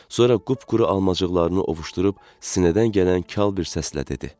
Sonra qupquru almacıqlarını ovuşdurub sinədən gələn kal bir səslə dedi.